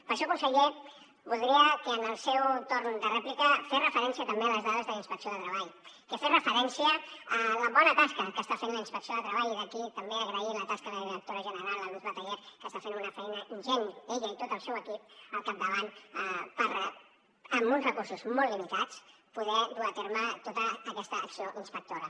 per això conseller voldria que en el seu torn de rèplica fes referència també a les dades de la inspecció de treball que fes referència a la bona tasca que està fent la inspecció de treball i d’aquí també agrair la tasca de la directora general la luz bataller que està fent una feina ingent ella i tot el seu equip al capdavant amb uns recursos molt limitats poder dur a terme tota aquesta acció inspectora